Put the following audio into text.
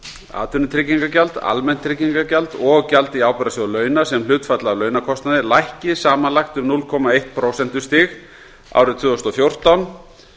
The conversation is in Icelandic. atvinnutryggingagjald almennt tryggingagjald og gjald í ábyrgðasjóð launa sem hlutfall af launakostnaði lækki samanlagt um núll komma eitt prósentustig árið tvö þúsund og fjórtán